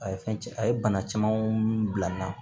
A ye fɛn a ye bana camanw bila n na